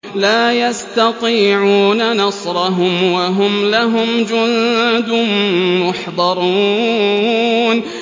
لَا يَسْتَطِيعُونَ نَصْرَهُمْ وَهُمْ لَهُمْ جُندٌ مُّحْضَرُونَ